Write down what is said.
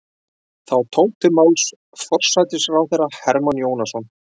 Þá tók til máls forsætisráðherra Hermann Jónasson.